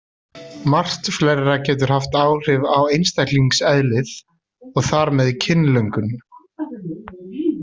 Margt fleira getur haft áhrif á einstaklingseðlið og þar með kynlöngun.